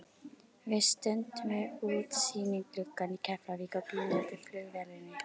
Við stöndum við útsýnisgluggann í Keflavík og bíðum eftir flugvélinni.